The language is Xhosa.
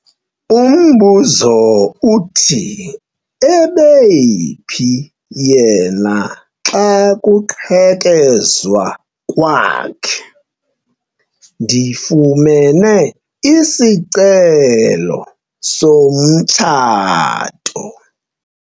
Umbuzo uthi ebephi yena xa kuqhekezwa kwakhe? ndifumene isicelo somtshato